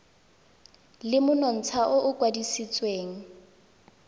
le monontsha o o kwadisitsweng